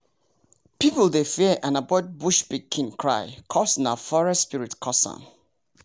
people dey fear and avoid bush pikin cry cuz nah forest spirit cus am